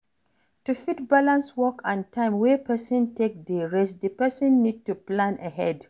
To fit balance work and time wey person take dey rest, di person need to plan ahead